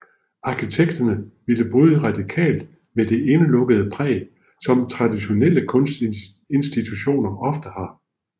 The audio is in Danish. Arkitekterne ville bryde radikalt med det indelukkede præg som traditionelle kunstinstitutioner ofte har